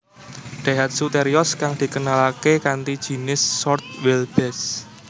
Daihatsu Terios kang dikenalaké kanthi jinis short wheelbase